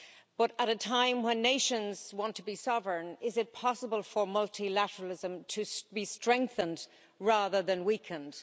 But at a time when nations want to be sovereign, is it possible for multilateralism to be strengthened rather than weakened?